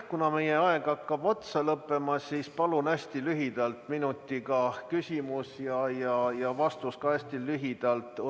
Kuna meie aeg hakkab lõppema, siis palun hästi lühidalt, minutiga esitada küsimus ja vastus ka hästi lühidalt anda.